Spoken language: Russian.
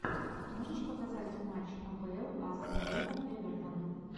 можешь показать матч апл астон вилла эвертон